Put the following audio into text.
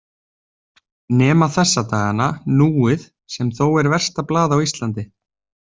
Nema þessa dagana Núið sem þó er versta blað á Íslandi.